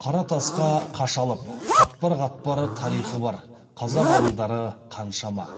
қара тасқа қашалып қатпар қатпар тарихы бар қазақ ауылдары қаншама